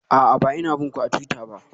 A'a, ba ina bin ku a twitter ba.